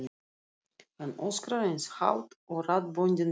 Hann öskrar eins hátt og raddböndin leyfa.